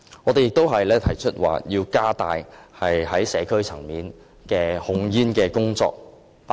我們亦提出要加強社區層面的控煙工作。